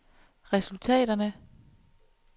resultaterne